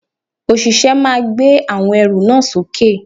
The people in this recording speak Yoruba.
Òṣìṣẹ́ náà gbé àwọn ẹrù náà sókè